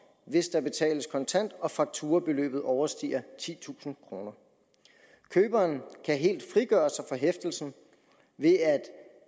hvis der betales kontant og fakturabeløbet overstiger titusind kroner køberen kan helt frigøre sig fra hæftelsen ved at